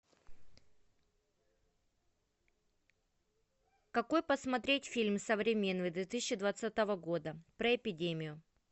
какой посмотреть фильм современный две тысячи двадцатого года про эпидемию